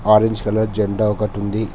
Orange colour జెండా ఒకటి ఉంది.